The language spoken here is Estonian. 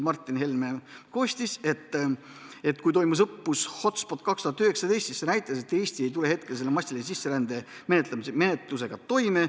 Mart Helme selgitas, et kui toimus õppus HotSpot 2019, siis see näitas, et Eesti ei tuleks massilise sisserände menetlusega toime.